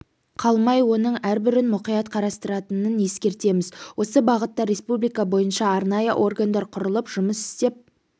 қалмай оның әрбірін мұқият қарастыратынын ескертеміз осы бағытта республика бойынша арнайы органдар құрылып жұмыс істеп